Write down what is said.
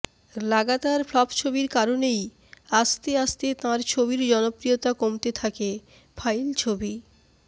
লাগাতার ফ্লপ ছবির কারণেই আস্তে আস্তে তাঁর ছবির জনপ্রিয়তা কমতে থাকে ফাইল ছবি